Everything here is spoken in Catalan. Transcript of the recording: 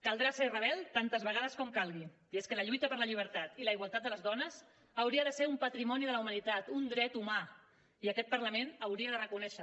caldrà ser rebel tantes vegades com calgui i és que la lluita per la llibertat i la igualtat de les dones hauria de ser un patrimoni de la humanitat un dret humà i aquest parlament ho hauria de reconèixer